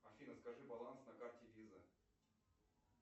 афина скажи баланс на карте виза